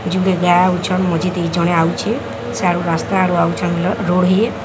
ଜଣେ ଆଉଚି ସିଆଡେ ରାସ୍ତା ଆଡୁ ଆଉଚନ୍ତି ରୋହୀ --